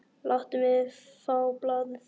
Láttu mig fá blaðið!